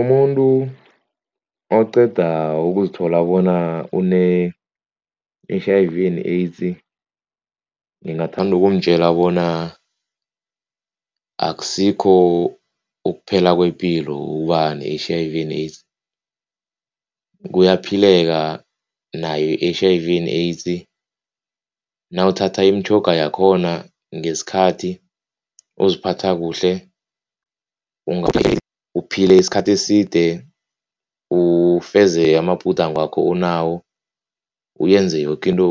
Umuntu oqeda uzikuthola bona une-H_I_V and AIDS ngingathanda kumtjela bona akusikho ukuphela kwepilo ukuba ne-H_I_V and AIDS, kuyaphileka nayo H_I_V and AIDS. Nawuthatha imitjhoga yakhona ngesikhathi, ukuziphatha kuhle, uphile isikhathi eside, ufeze amabhudango wakho onawo, uyenze yoke into